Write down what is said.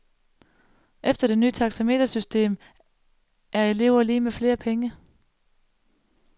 Efter det ny taxametersystem er elever lig med flere penge.